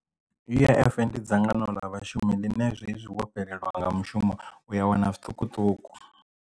U_I_F ndi dzangano ḽa vhashumi ḽine zwezwi wo fhelelwa nga mushumo u ya wana zwiṱukuṱuku.